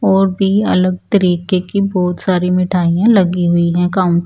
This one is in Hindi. और भी अलग तरीके कि बहोत सारी मिठाइया लगी हुई हैं काउन्ट --